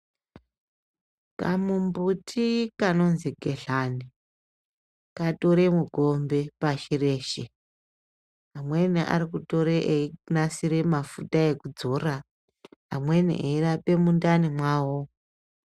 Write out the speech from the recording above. Kamumbuti kanonzi gedhlane katore mukombe pashireshe amweni arikutore eyinasire mafuta ekudzora amweni eyirape mundani mwawo.